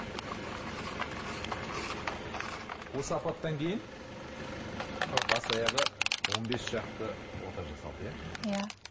мхм осы апаттан кейін бас аяғы он бес шақты ота жасалды иә иә